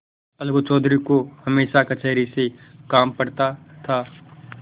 अलगू चौधरी को हमेशा कचहरी से काम पड़ता था